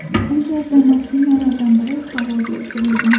U yerda mashinalardan biri havoga uchirilgan.